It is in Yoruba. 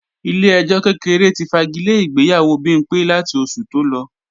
Ilé ẹjọ́ kékeré ti fagilé ìgbéyàwó Bimpé láti oṣù tó lọ